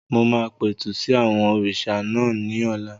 Mo máa pẹ̀tù sí àwọn òrìṣà náà ní ọ̀la